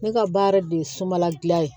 Ne ka baara de ye sumala gilan ye